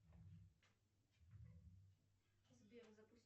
сбер запусти